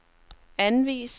anvis